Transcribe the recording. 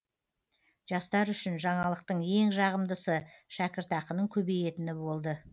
жастар үшін жаңалықтың ең жағымдысы шәкіртақының көбейетіні болды